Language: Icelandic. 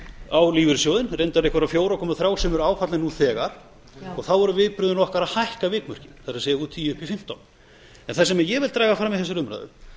á lífeyrissjóðinn reyndar einhverja fjóra komma þrjú sem eru áfallnir nú þegar og þá eru viðbrögðin okkar að hækka vikmörkin það er frá tíu upp í fimmtán það sem ég vildi draga fram í þessari umræðu